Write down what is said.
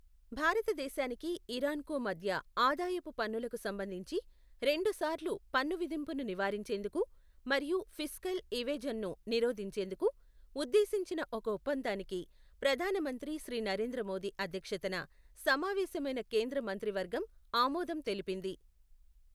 భారతదేశానికి, ఇరాన్ కు మధ్య ఆదాయపు పన్నులకు సంబంధించి రెండు సార్లు పన్ను విధింపును నివారించేందుకు, మరియు ఫిస్కల్ ఇవేఝన్ ను నిరోధించేందుకు, ఉద్దేశించిన ఒక ఒప్పందానికి ప్రధాన మంత్రి శ్రీ నరేంద్ర మోదీ అధ్యక్షతన సమావేశమైన కేంద్ర మంత్రివర్గం ఆమోదం తెలిపింది.